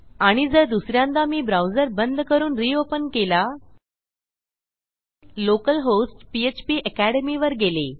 आणि जर दुस यांदा मी ब्राउझर बंद करून रियोपेन केला लोकल होस्ट पीएचपी अकॅडमी वर गेले